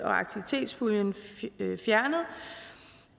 og aktivitetspuljen fjernet